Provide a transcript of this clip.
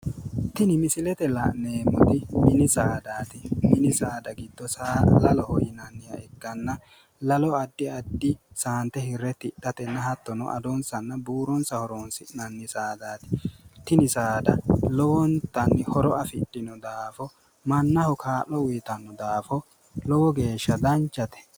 Tini misilete la'neemmoti mini saadaati. Mini saada giddo saa no. Laloho yinanniha ikkanna lalo addi addi saante hirre tidhatenna hattono adonsanna buuronsa horoonsi'nanni saadaati. Tini saada lowontanni horo afidhino daafo mannaho kaa'lo uyitanno daafo lowo geeshsha danchate.